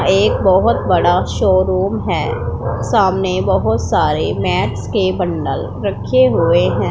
एक बहोत बड़ा शोरूम है सामने बहोत सारे मैच के बंडल रखे हुए हैं।